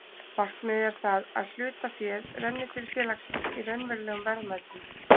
Markmið er það að hlutaféð renni til félagsins í raunverulegum verðmætum.